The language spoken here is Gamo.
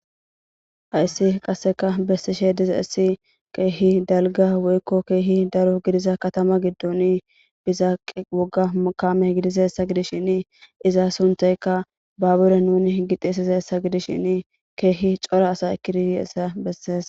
Hayssi qasseka bessishe diza issi keehi dalga woykko keehi daro gidiza katama giddon bizaaqe wogga mukame gidiza essa gidishini iza suntayka baabure nuni higixisis a essa gidishshin keehi cora asa ekidiyiessa besses.